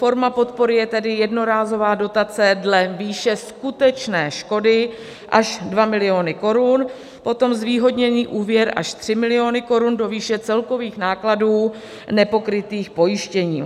Forma podpory je tedy jednorázová dotace dle výše skutečné škody až 2 miliony korun, potom zvýhodněný úvěr až 3 miliony korun do výše celkových nákladů nepokrytých pojištěním.